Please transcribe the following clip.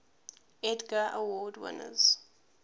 edgar award winners